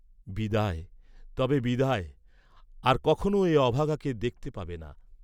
বিদায় তবে বিদায়, আর কখনো এ অভাগাকে দেখতে পাবে না।